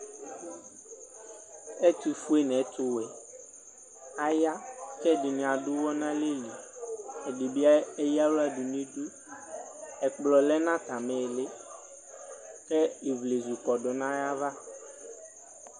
ɛtʋƒʋe nʋ ɛtʋwɛ aya kɛdini adʋ ʋwɔ nalɛli ɛdibi eya aɣla dʋ nidʋ ɛkplɔ lɛ natami iyilii kɛ ivlezʋ kɔdʋ nayava